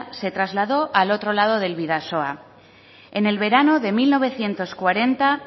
se trasladó al otro lado del bidasoa en el verano de mil novecientos cuarenta